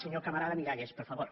senyor camarada miralles per favor